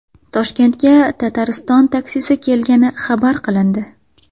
Toshkentga Tatariston taksisi kelgani xabar qilindi.